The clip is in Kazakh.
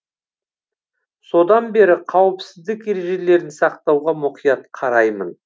содан бері қауіпсіздік ережелерін сақтауға мұқият қараймын